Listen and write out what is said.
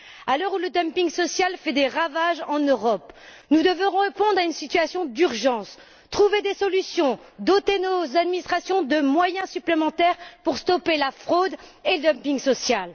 À l'heure où le dumping social fait des ravages en Europe, nous devons répondre à une situation d'urgence, trouver des solutions, doter nos administrations de moyens supplémentaires pour stopper la fraude et le dumping social.